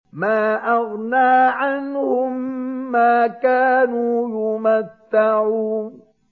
مَا أَغْنَىٰ عَنْهُم مَّا كَانُوا يُمَتَّعُونَ